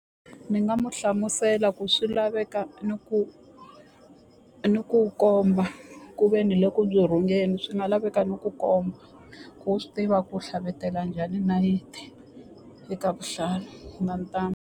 Ni nga mu hlamusela ku swi laveka ni ku ni ku komba ku ve ni le ku byi tshungeni swi nga laveka ni ku komba ku u swi tiva ku tlhavutela njhani nayiti eka vuhlalu na ntambu.